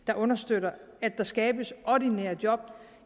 der understøtter at der skabes ordinære job